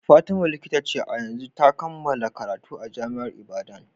Fatima Likita ce a yanzu, ta kammala karatu a jami'ar Ibadan.